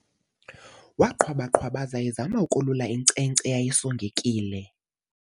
Waqhwaba-qhwabaza ezama ukolula inkcenkce eyayisongekile.